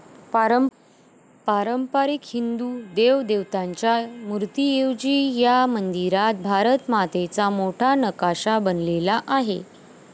पारंपारिक हिंदू देवदेवतांच्या मूर्तीऐवजी ह्या मंदिरात भारत मातेचा मोठा नकाशा बनवलेला आहे.